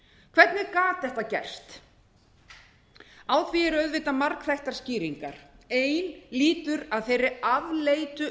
hvernig gat þetta gerst á því eru auðvitað margþættar skýringar ein lýtur að þeirri afleitu